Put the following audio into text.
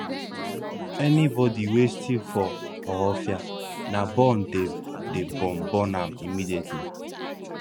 anybody wey steal for ohaofia na burn dem dey burn burn am immediately